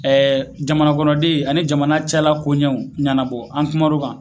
Ɛɛ jamanakɔnɔden ani jamana cɛla koɲɛw ɲanabɔ an kuman'o kan